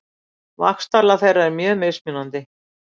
Vaxtarlag þeirra er mjög mismunandi.